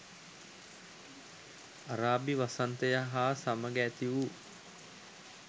අරාබි වසන්තය හා සමග ඇතිවූ